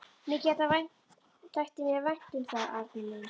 Mikið þætti mér vænt um það, Arnar minn!